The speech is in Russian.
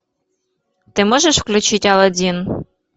ты можешь включить алладин